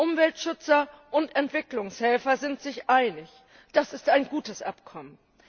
Umweltschützer und Entwicklungshelfer sind sich einig Das ist ein gutes Abkommen!